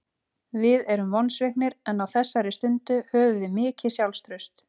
Við erum vonsviknir en á þessari stundu höfum við mikið sjálfstraust.